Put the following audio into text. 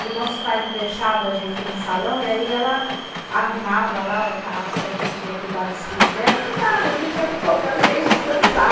E nossos pais não deixavam a gente ir no salão, e aí ela arrumava lá, falava que a gente ia cuidar dos filhos dela, que nada, a gente ia para o Cobrazeixos dançar.